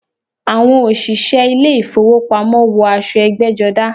Àwọn òṣìṣẹ́ ilé ìfowópamọ́ wọ aṣọ ẹgbẹ́jọdá.